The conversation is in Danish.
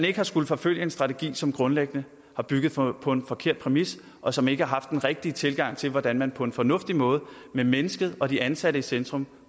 ikke at skulle forfølge en strategi som grundlæggende har bygget på en forkert præmis og som ikke har haft den rigtige tilgang til hvordan man på en fornuftig måde med mennesket og de ansatte i centrum